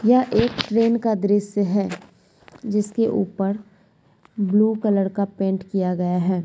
यह एक ट्रेन का द्रश्य है जिसके ऊपर ब्लू कलर का पेन्ट किया गया है।